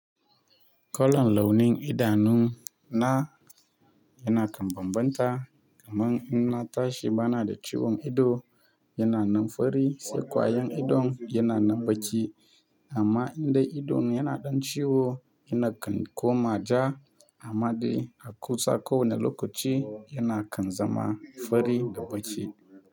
Kalon launin idanun na yana kan bambanta, kamar in na tashi bana da ciwon ido yana nan fari, sai ƙwayan idon yana nan baƙi. Amma idan idon yana ɗan ciwo na kan koma ja amma dai a kusa ko wane lokaci yana kan zama fari da baƙi.